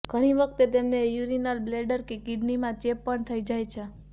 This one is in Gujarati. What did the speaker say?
ઘણી વખત તેમને યૂરીનરી બ્લેડર કે કિડનીમાં ચેપ પણ થઈ જાય છે